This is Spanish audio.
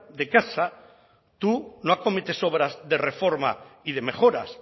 de casa tú no acometes obras de reforma y de mejoras